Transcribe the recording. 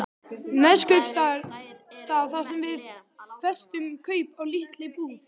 Neskaupstað þar sem við festum kaup á lítilli íbúð.